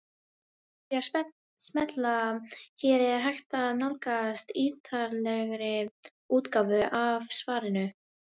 Með því að smella hér er hægt að nálgast ítarlegri útgáfu af svarinu.